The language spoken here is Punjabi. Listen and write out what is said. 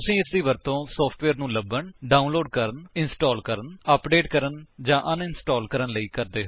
ਤੁਸੀ ਇਸਦੀ ਵਰਤੋ ਸੋਫਟਵੇਅਰ ਨੂੰ ਲੱਭਣ ਡਾਇਨਲੋਡ ਕਰਨ ਇੰਸਟਾਲ ਕਰਨ ਅਪਡੇਟ ਕਰਨ ਜਾਂ ਅਨਇੰਸਟਾਲ ਕਰਨ ਲਈ ਕਰ ਸਕਦੇ ਹੋ